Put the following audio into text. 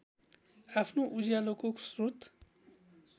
आफ्नो उज्यालोको स्रोत